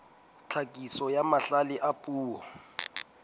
tlhakiso ya mahlale a puo